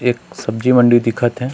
एक सब्ज़ी मंडी दिखा थे।